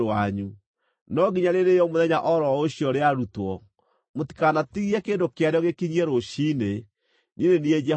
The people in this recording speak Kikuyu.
No nginya rĩrĩĩo mũthenya o ro ũcio rĩarutwo; mũtikanatigie kĩndũ kĩarĩo gĩkinyie rũciinĩ. Niĩ nĩ niĩ Jehova.